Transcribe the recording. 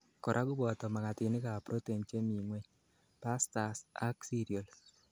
korak koboto makatinik ab protein chemingweny, pastas ak cereals